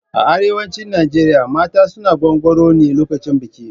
A arewacin Najeriya mata suna gwaggwaro ne lokacin biki.